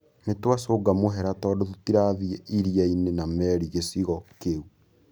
Nĩ twacūnga mũhera tondũ tũtirathĩ iria-inĩ na meri gĩcigo kĩu.